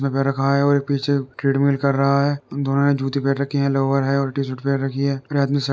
पैर रखा है और एक पीछे ट्रेडमिल कर रहा है दोनों ने जूते पैर रखे हैं लोवर है और टीशर्ट पैर रखी है और --